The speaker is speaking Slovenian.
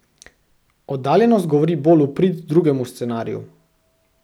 Oddaljenost govori bolj v prid drugemu scenariju.